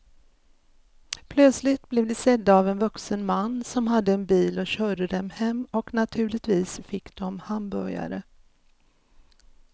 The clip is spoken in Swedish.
Plötsligt blev de sedda av en vuxen man som hade en bil och körde dem hem och naturligtvis fick de hamburgare.